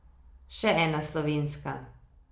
Še ena slovenska.